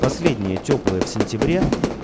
последние тёплые в сентябре